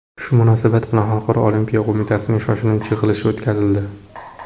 Shu munosabat bilan Xalqaro olimpiya qo‘mitasining shoshilinch yig‘ilishi o‘tkazildi.